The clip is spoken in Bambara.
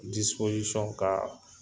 ka